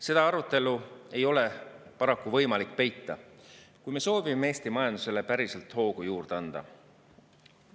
Seda arutelu ei ole paraku võimalik peita, kui me soovime Eesti majandusele päriselt hoogu juurde anda.